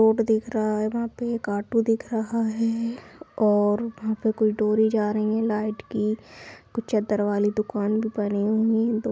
रोड दिख रहा है वहाँ पे एक ऑटो दिख रहा है और वहाँ पे कुछ डोरी जा रही है लाइट की कुछ चद्दर वाली दुकान भी बनी हुई--